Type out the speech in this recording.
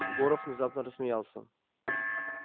горов внезапно рассмеялся